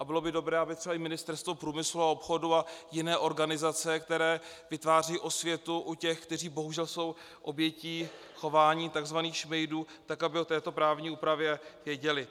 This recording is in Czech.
A bylo by dobré, aby třeba i Ministerstvo průmyslu a obchodu a jiné organizace, které vytvářejí osvětu u těch, kteří bohužel jsou obětí chování tzv. šmejdů, tak aby o této právní úpravě věděli.